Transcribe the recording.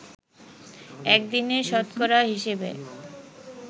একদিনে শতকরা হিসেবে